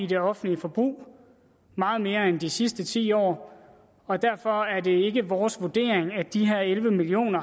det offentlige forbrug meget mere end i de sidste ti år og derfor er det ikke vores vurdering at de her elleve million